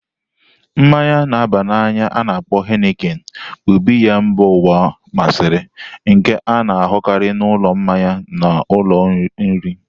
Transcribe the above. Mmanyi na aba na anya a-na akpo Henikin bụ biya mba ụwa masịrị, nke a na-ahụkarị n'ụlọ mmanya na ụlọ nri.